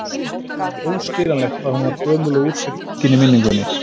Óskiljanlegt hvað hún var gömul og úr sér gengin í minningunni.